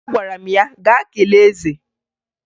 Agwara m ya, "gaa kelee eze!"